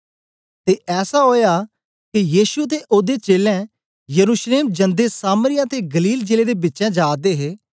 ते ऐसा ओया के यीशु ते ओदे चेलें यरूशलेम जंदे सामरिया ते गलील जिले दे बिचें जा दे हे